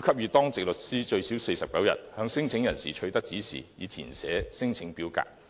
給予當值律師最少49天向免遣返聲請申請人取得指示，以填寫聲請表格。